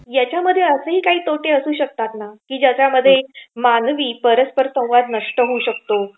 याच्यामध्ये असेही काही तोटे असू शकतात ना की ज्याच्यामध्ये मानवी परस्पर संवाद नष्ट होऊ शकतो?